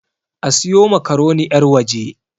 A siyo makaroni yarwaje!